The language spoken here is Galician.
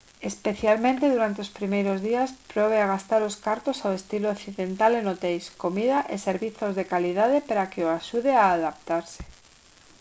especialmente durante os primeiros días probe a gastar os cartos ao estilo occidental en hoteis comida e servizos de calidade para que o axude a adaptarse